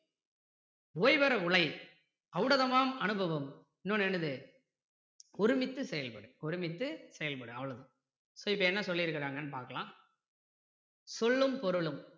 ஓய்வற உழை ஔடதமாம் அனுபவம் இன்னொண்ணு என்னது ஒருமித்து செயல்படு ஒருமித்து செயல்படு அவ்வளோதான் so இப்போ என்ன சொல்லி இருக்காங்கன்னு பார்க்கலாம் சொல்லும் பொருளும்